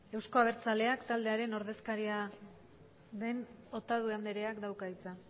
euzko abertzaleak taldearen ordezkaria den otadui andreak dauka hitza